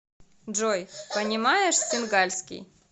джой понимаешь сингальский